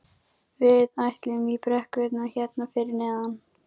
Skipið klauf sig framhjá Hjalteyri og Svalbarðsströnd.